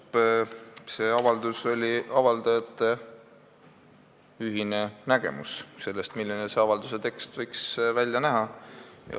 Küllap on see avaldus avaldajate ühine nägemus sellest, milline see avalduse tekst võiks välja näha.